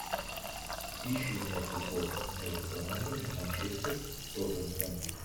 ищи мне футбол между командами манчестер тоттенхэм